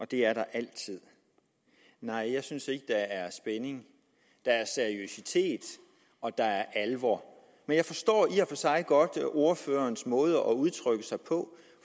det er der altid nej jeg synes ikke at der er spænding der er seriøsitet og der er alvor men jeg forstår i og for sig godt ordførerens måde at udtrykke sig på